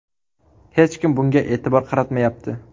Hech kim bunga e’tibor qaratmayapti.